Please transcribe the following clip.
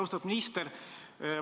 Austatud minister!